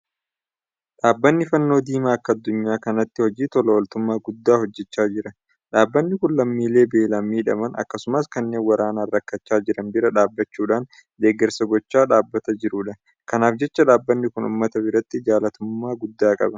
Dhaabbanni Fannoo Diimaa akka addunyaa kanaatti hojii tola ooltummaa guddaa hojjechaa jira. Dhaabbanni kun lammiilee beelaan miidhaman. Akkasumas kanneen waraanaan rakkachaa jiran bira dhaabbachuudhaan deeggarsa gochaa dhaabbata jirudha. Kanaaf jecha dhaabbanni kun uummata biratti jaalatamummaa guddaa qaba.